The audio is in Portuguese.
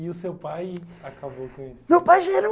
E o seu pai acabou com isso?